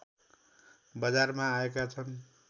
बजारमा आएका छन्